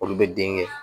Olu bɛ den kɛ